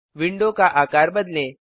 window का आकार बदलें